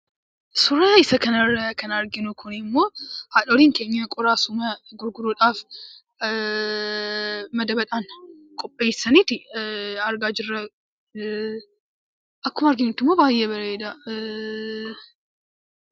Suuraa isa kanarraa kan arginu kunimmoo haadholiin keenya qoraasuma gurguruudhaaf madabaan qopheessaniitu argaa jirra. Akkuma arginutti immoo baay'ee bareeda.